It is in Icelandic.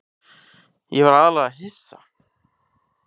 Ég var aðallega hissa.